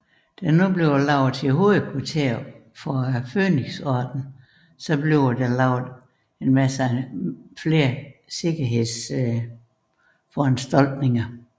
Da det bliver lavet til hovedkvarter for Fønixordenen bliver der lavet yderligere sikkershedsforanstaltninger